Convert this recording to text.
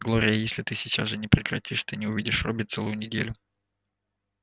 глория если ты сейчас же не прекратишь ты не увидишь робби целую неделю